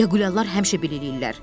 Yağuliyalar həmişə belə eləyirlər.